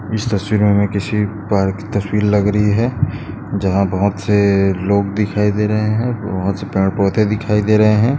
इस तस्वीर मे हमे किसी पार्क की तस्वीर लग रही है जहा बहुत से लोग दिखाई दे रहे है बहोत से पेड़ पौधे दिखाई दे रहे है।